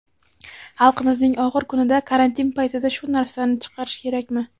Xalqimizning og‘ir kunida, karantin paytida shu narsani chiqarish kerakmi?